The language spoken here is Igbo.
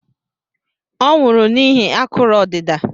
Ọ nwụrụ n'ihi akụrụ odida